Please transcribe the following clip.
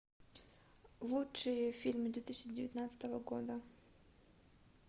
лучшие фильмы две тысячи девятнадцатого года